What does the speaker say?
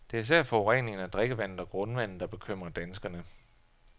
Det er især forureningen af drikkevandet og grundvandet, der bekymrer danskerne.